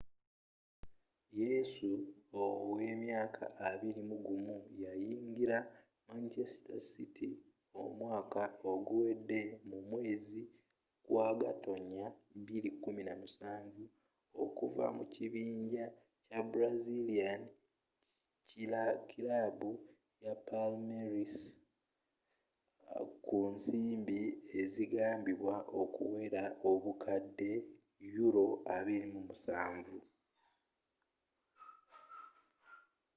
yesu owa emyaka 21 yayingira manchester city omwaka oguwede mu mwezi gwa gatonnya 2017 okuva mu kibinja kya brazilian kilaabu palmeiras ku nsimbi ezigambibwa okuwera obukadde £27